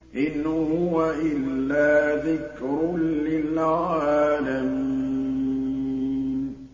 إِنْ هُوَ إِلَّا ذِكْرٌ لِّلْعَالَمِينَ